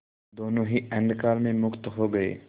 दोेनों ही अंधकार में मुक्त हो गए